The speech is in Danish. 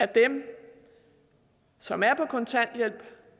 dem som er på kontanthjælp